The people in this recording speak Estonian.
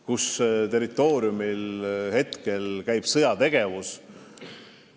Nende territooriumil käib praegu sõjategevus.